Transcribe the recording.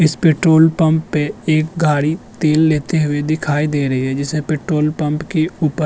इस petrol pump पे एक गाड़ी तेल लेते हुए दिखाई दे रही है जिसे पेट्रोल पंप की ऊपर --